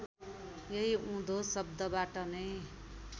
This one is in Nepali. यही उँधो शब्दबाट नै